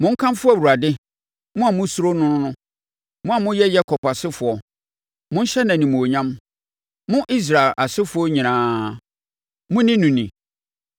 Monkamfo Awurade, mo a mosuro no no! Mo a moyɛ Yakob asefoɔ, monhyɛ no animuonyam! Mo Israel asefoɔ nyinaa, monni no ni!